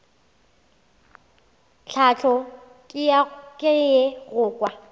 tlhahlo ke ye go kwa